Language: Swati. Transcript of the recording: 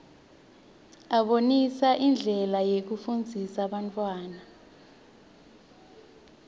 abonisa indlela yekufundzisa bantfwana